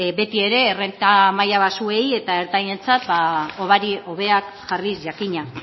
beti ere errenta maila baxuei eta ertainentzat hobari hobeak jarriz jakina